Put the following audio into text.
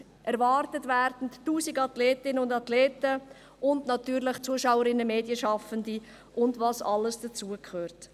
Erwartet werden 1000 Athletinnen und Athleten sowie natürlich Zuschauerinnen, Medienschaffende und was alles dazu gehört.